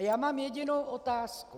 A já mám jedinou otázku.